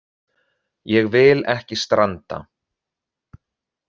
Ég vil ekki stranda.